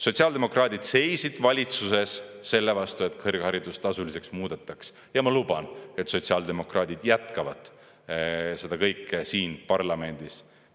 Sotsiaaldemokraadid seisid valitsuses selle vastu, et kõrgharidus tasuliseks muudetaks, ja ma luban, et sotsiaaldemokraadid jätkavad seda kõike siin parlamendis.